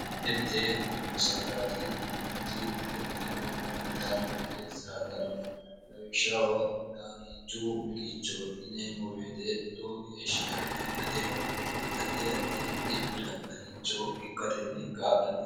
mitte mite dubbo saadati yineemmoti xaginateho gaallitannonke saadanno lawikhshaho daaniichu miqicho yineemmo beete lowo geeshiya xaginateho addi addi dhibbi'ra xagicho ikkatenni kaallannono